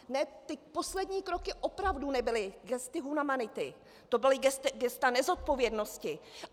Ne, ty poslední kroky opravdu nebyly gesta humanity, to byla gesta nezodpovědnosti.